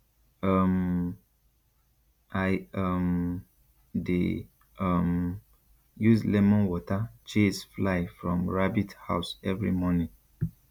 um i um dey um use lemon water chase fly from rabbit house every morning